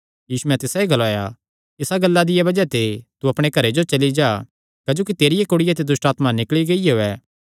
यीशुयैं तिसायो ग्लाया इसा गल्ला दिया बज़ाह ते तू अपणे घरे जो चली जा तेरिया कुड़िया ते दुष्टआत्मा निकल़ी गियो ऐ